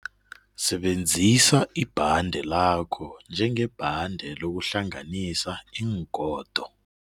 Sebenzisa ibhande lakho njengebhande lokuhlanganisa iingodo.